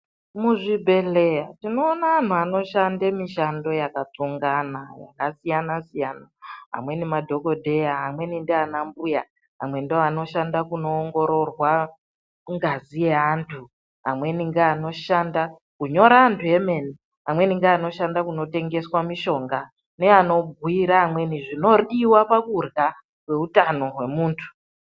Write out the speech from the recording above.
Muzvibhledhlera tinoona vantu vanoshanda mishando zvakasiyana siyana amweni madhokodheya vamweni ndiana mbuya ,amweni ndoanoshanda kunoongorwa ngaziyeantu ,amweni ngeanoshanda kunyora antu emene, amweni ngeanoshanda kunotengeswa mitombo ,amweni ngeanobhuira antu zvinodiwa pakurya kweutamo hwemuntu.